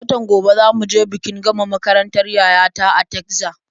Watan gobe za mu je bikin gama makarantar yaya ta a Tegzas.